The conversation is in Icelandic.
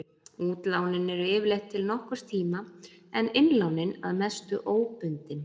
Útlánin eru yfirleitt til nokkurs tíma en innlánin að mestu óbundin.